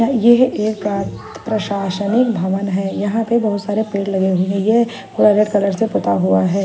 और ये है एक प्रशासन भवन है यहाँ पे बहोत सारे पेड़ लगे हुए है ये कलर से पुता हुआ है।